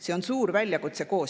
See on suur koostöö väljakutse.